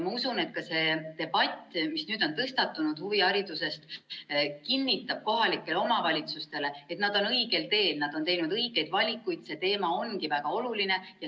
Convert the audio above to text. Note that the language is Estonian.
Ma usun, et ka see debatt, mis nüüd on tõstatunud, kinnitab kohalikele omavalitsustele, et nad on õigel teel, nad on teinud õigeid valikuid ja see teema ongi väga oluline.